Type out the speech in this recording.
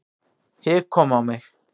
Hik kom á mig.